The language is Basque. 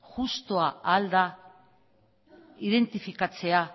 justua al da identifikatzea